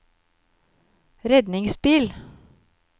redningsbil